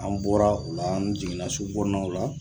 An bɔra o la an jiginna sugukɔnɔnaw la